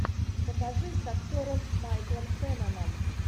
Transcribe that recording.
покажи с актером майклом шенноном